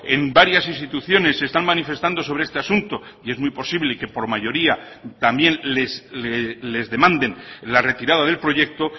en varias instituciones están manifestando sobre este asunto y es muy posible que por mayoría también les demanden la retirada del proyecto